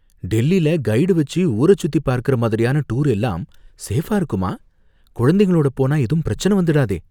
டெல்லில கைடு வச்சு ஊரச்சுத்தி பார்க்கற மாதிரியான டூர் எல்லாம் சேஃபா இருக்குமா, குழந்தைங்களோட போனா ஏதும் பிரச்சனை வந்துடாதே?